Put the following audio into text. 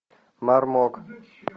мармок